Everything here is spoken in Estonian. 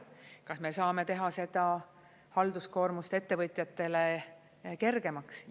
Kas me saame teha seda halduskoormust ettevõtjatele kergemaks?